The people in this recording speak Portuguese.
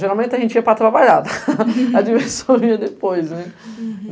Geralmente a gente ia para trabalhar, a diversão vinha depois depois.